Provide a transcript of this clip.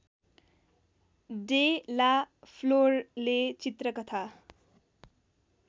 day La फ्लोरले चित्रकथा